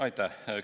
Aitäh!